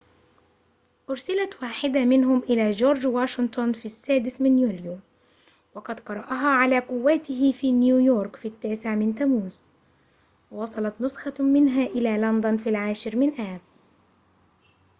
أُرسلت واحدة منهم إلى جورج واشنطن في السادس من يوليو وقد قرأها على قوّاته في نيويورك في التاسع من تموز ووصلت نسخة منها إلى لندن في العاشر من آب